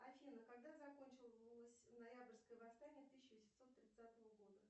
афина когда закончилось ноябрьское восстание тысяча восемьсот тридцатого года